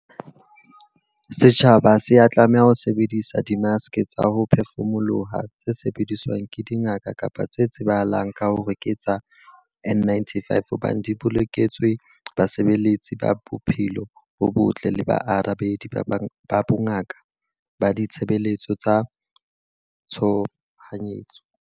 Setjhaba ha se a tlameha ho sebedisa dimaske tsa ho phefumoloha tse sebediswang ke dingaka kapa tse tsebahalang ka hore ke tsa N-95 hobane di boloketswe basebeletsi ba bophelo bo botle le baarabedi ba bongaka ba ditshebeletso tsa tshohanyetso.